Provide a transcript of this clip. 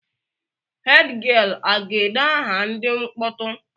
Hed gịel a ga-ede aha ndị mkpọtụ?